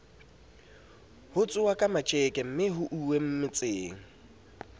ho tsohwaka matjekemme ho uwemotseng